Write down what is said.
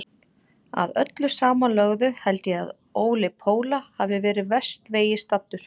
Að öllu samanlögðu held ég þó að Óli Póla hafi verið verst vegi staddur.